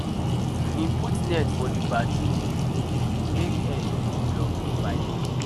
e put net for di bathroom hole make hair no go block di pipe